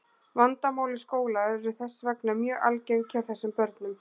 Vandamál í skóla eru þess vegna mjög algeng hjá þessum börnum.